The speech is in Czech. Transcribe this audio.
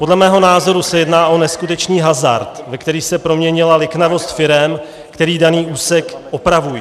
Podle mého názoru se jedná o neskutečný hazard, ve který se proměnila liknavost firem, které daný úsek opravují.